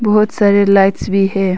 बहुत सारे लाइट्स भी है।